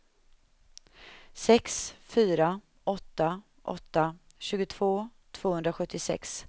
sex fyra åtta åtta tjugotvå tvåhundrasjuttiosex